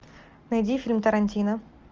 найди фильм тарантино